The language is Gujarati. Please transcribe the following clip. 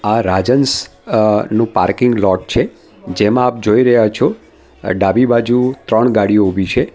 આ રાજહંસ અ નું પાર્કિંગ લોટ છે જેમાં આપ જોઈ રહ્યા છો અહ ડાબી બાજુ ત્રણ ગાડીઓ ઉભી છે.